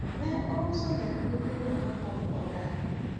ne ouso lep nyithindo kapok odar